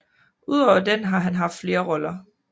Udover den har han haft flere roller